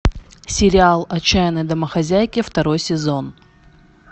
сериал отчаянные домохозяйки второй сезон